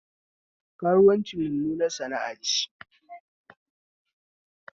Karuwanci mummunar sana'a ce